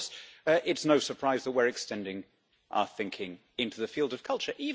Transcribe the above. And of course, it's no surprise that we're extending our thinking into the field of culture.